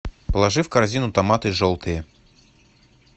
положи в корзину томаты желтые